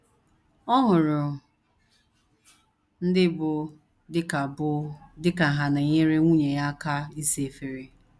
Ọ hụrụ ndị bụ́ di ka bụ́ di ka ha na - enyere nwunye ha aka ịsa efere